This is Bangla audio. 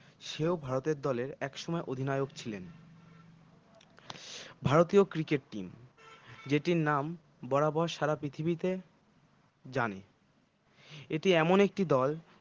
সেও ভারতের দলের একসময় অধিনায়ক ছিলেন ভারতীয় cricket team যেটির নাম বরাবর সারা পৃথিবীতে জানে এটি এমন একটি দল